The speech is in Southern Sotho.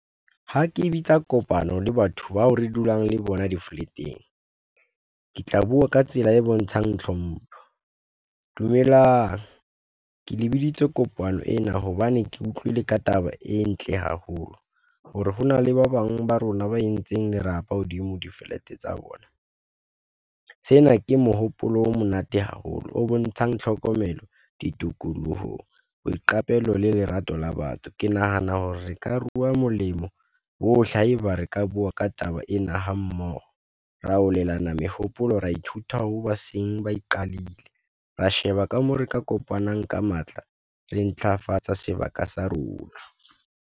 Ha ke bitsa kopano le batho bao re dulang le bona di flat-eng, ke tla bua ka tsela e bontshang tlhompho. Dumelang ke le biditse kopano ena, hobane ke utlwile ka taba e ntle haholo, hore hona le ba bang ba rona ba entseng dirapa hodima di flat tsa bona. Sena ke mohopolo o monate haholo, o bontshang tlhokomelo ditikolohong, boiqapelo le lerato la batho. Ke nahana hore re ka rua molemo, bohle haeba re ka bua ka taba ena ha mmoho, re arolelana mehopolo, ra ithuta ho ba seng ba iqadile, ra sheba ka moo re ka kopanang ka matla, re ntlafatsa sebaka sa rona.